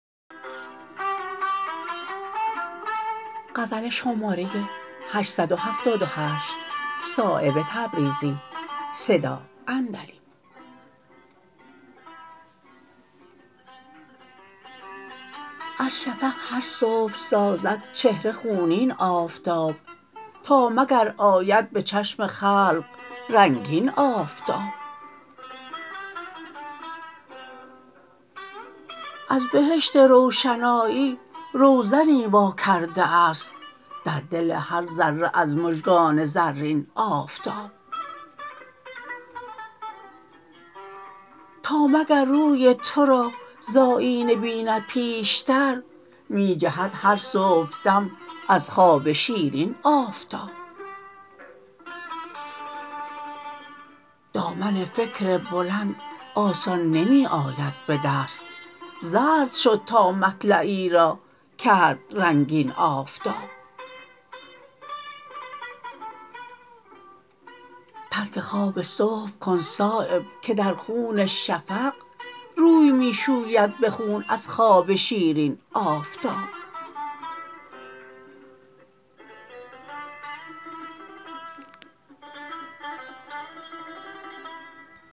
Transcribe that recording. از شفق هر صبح سازد چهره خونین آفتاب تا مگر آید به چشم خلق رنگین آفتاب از بهشت روشنایی روزنی واکرده است در دل هر ذره از مژگان زرین آفتاب تا مگر روی ترا ز آیینه بیند پیشتر می جهد هر صبحدم از خواب شیرین آفتاب دامن فکر بلند آسان نمی آید به دست زرد شد تا مطلعی را کرد رنگین آفتاب ترک خواب صبح کن صایب که در خون شفق روی می شوید به خون از خواب شیرین آفتاب